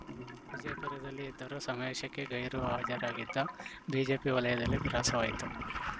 ವಿಜಯಪುರದಲ್ಲಿ ಇದ್ದರೂ ಸಮಾವೇಶಕ್ಕೆ ಗೈರು ಹಾಜರಾಗಿದ್ದ ಬಿಜೆಪಿ ವಲಯದಲ್ಲಿ ಗ್ರಾಸವಾಯಿತು